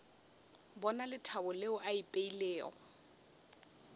bona lethabo leo le ipeilego